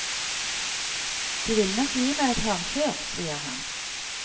De vil nok gi meg et hardkjør, sier han.